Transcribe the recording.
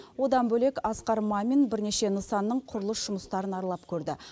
одан бөлек асқар мамин бірнеше нысанның құрылыс жұмыстарын аралап көрді